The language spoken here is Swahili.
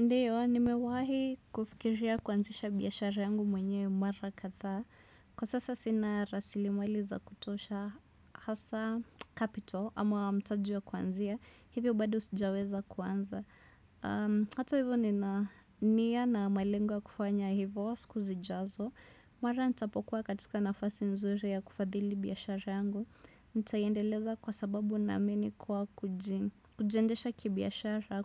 Ndiyo, nimewahi kufikiria kuanzisha biashara yangu mwenyewe mara kadhaa. Kwa sasa Sina rasilimali za kutosha hasaa capital ama mtaji wa kuanzia. Hivyo bado sijaweza kuanza. Hata hivyo nina niya na malengo ya kufanya hivyo siku zijazo. Mara nitapokuwa katika nafasi nzuri ya kufadhili biashara yangu. Ntaiendeleza kwa sababu naamini kuwa kujiendesha kibiashara.